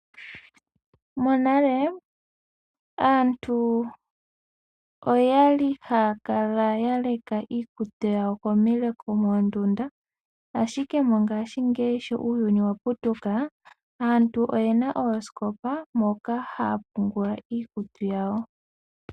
Monale aantu oya li haya kala ya leka iikutu yawo komileko moondunda, ashike mongashingeyi sho uuyuni wa putuka aantu oye na oosikopa moka haya pungula iikutu yawo.